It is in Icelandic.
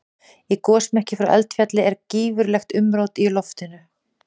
Í gosmekki frá eldfjalli er gífurlegt umrót í loftinu.